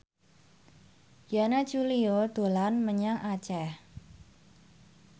Yana Julio dolan menyang Aceh